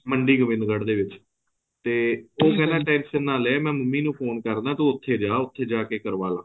ਮੰਡੀ ਗੋਬਿੰਦਗਢ਼ ਦੇ ਵਿੱਚ ਤੇ ਉਹ ਕਹਿੰਦਾ tension ਨਾ ਲੈ ਮੈਂ ਮੰਮੀ ਨੂੰ phone ਕਰਦਾ ਤੂੰ ਉੱਥੇ ਜਾ ਉੱਥੇ ਜਾਕੇ ਕਰਵਾਲਾ